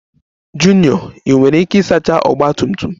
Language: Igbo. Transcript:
Junior Ị nwere ike isacha Ọgba tum tum m?